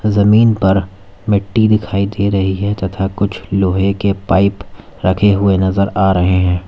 जमीन पर मिट्टी दिखाई दे रही है तथा कुछ लोहे के पाइप रखे हुए नजर आ रहे हैं।